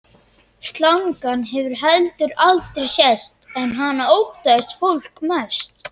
Slangan hefur heldur aldrei sést, en hana óttaðist fólk mest.